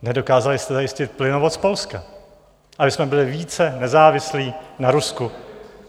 Nedokázali jste zajistit plynovod z Polska, abychom byli více nezávislí na Rusku.